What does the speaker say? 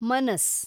ಮನಸ್